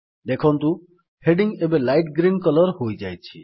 ଦେଖନ୍ତୁ ହେଡିଙ୍ଗ୍ ଏବେ light green colour ହୋଇଯାଇଛି